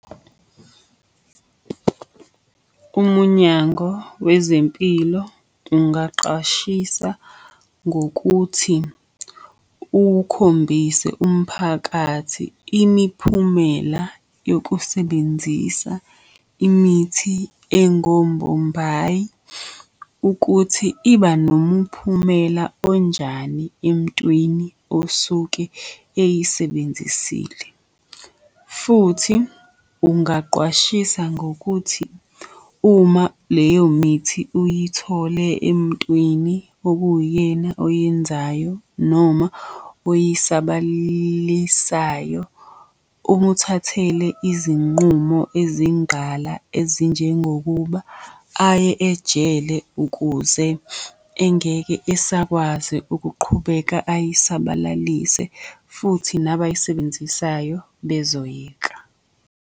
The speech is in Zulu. Umunyango wezempilo ungaqashisa ngokuthi ukhombise umphakathi imiphumela yokusebenzisa imithi engombombayi ukuthi iba nomuphumela onjani emntwini osuke eyisebenzisile. Futhi ungaqwashisa ngokuthi uma leyo mithi uyithole emntwini okuwuyena oyenzayo noma oyisabalisayo, umuthathele izinqumo ezingqala ezinjengokuba aye ejele ukuze engeke esakwazi ukuqhubeka ayisabalalise, futhi nabayisebenzisayo bezoyeka.